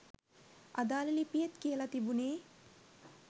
අදාළ ලිපියෙත් කියල තිබුණෙ